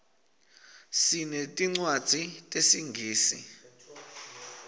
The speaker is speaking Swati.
sinetincwadzi tesingisi